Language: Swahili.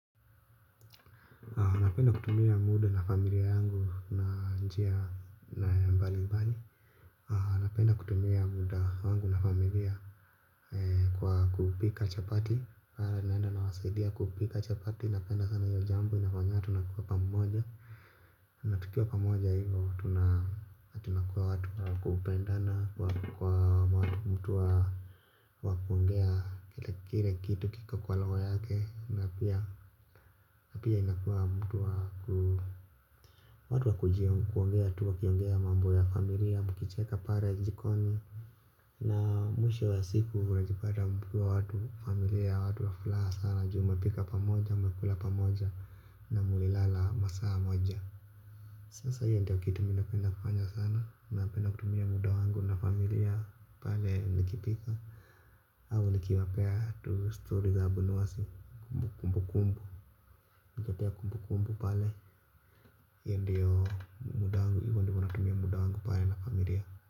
Napenda kutumia muda na familia yangu na njia na ya mbalimbali. Napenda kutumia muda wangu na familia kwa kupika chapati pale naenda nawasaidia kupika chapati. Napenda sana hii jambo inafanya tunakuwa pamoja. Natukia pamoja hivo tunakuwa watu kupendana kwa watu mtuwa wa kuongea kile kile kitu kiko kwa roho yake. Na pia na pia inakua mtu wa kuu. Watu wa kujiongea tuwa kiongea mambo ya familia mukicheka pare njikoni. Na mwisho wa siku mnajipata mkiwa watu wa familia watu wa furaha sana juu mnapika pamoja mmnakula pamoja na muilala masaa moja. Sasa hiyo ndiyo kitu mi napenda kufanya sana. Mi napenda kutumia muda wangu na familia pale nikipika. Au nikiwapea tu stori za abunwasi kumbu kumbu. Katika kumbu kumbu pale hiyo ndiyo muda wangu hivo ndio huwa natumia muda wangu pale na familia.